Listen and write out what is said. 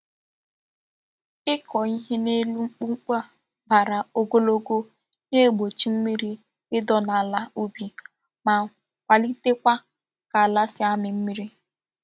Iko ihe n'elu mkpumkpu a bara ogologo na-egbochi mmiri Ido n'ala ubi ma kwalite Kwa ka ala si amiri mmiri.